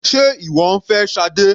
Sé ìwọ ń fẹ́ Sade?